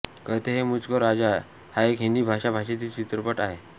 कहते हैं मुझको राजा हा एक हिंदी भाषा भाषेतील चित्रपट आहे